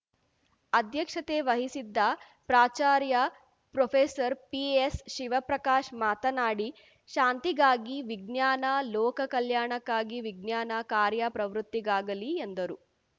ಅಧ್ಯಕ್ಷತೆ ವಹಿಸಿದ್ದ ಪ್ರಾಚಾರ್ಯ ಪ್ರೊಫೆಸರ್ಪಿಎಸ್‌ಶಿವಪ್ರಕಾಶ್ ಮಾತನಾಡಿ ಶಾಂತಿಗಾಗಿ ವಿಜ್ಞಾನ ಲೋಕ ಕಲ್ಯಾಣಕ್ಕಾಗಿ ವಿಜ್ಞಾನ ಕಾರ್ಯ ಪ್ರವೃತ್ತಿಗಾಗಲಿ ಎಂದರು